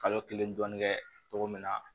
Kalo kelen dɔɔnin kɛ cogo min na